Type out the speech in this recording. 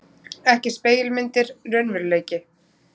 Ekki spegilmyndir, raunveruleiki.